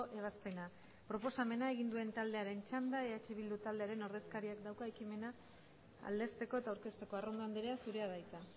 ebazpena proposamena egin duen taldearen txanda eh bildu taldearen ordezkariak dauka ekimena aldezteko eta aurkezteko arrondo andrea zurea da hitza